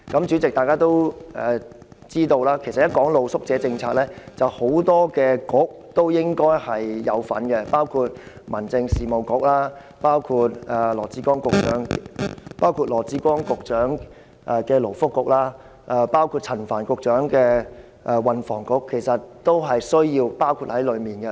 主席，大家都知道，其實露宿者政策與很多政策局都有關，包括民政事務局、羅致光局長的勞工及福利局，以及陳帆局長的運輸及房屋局。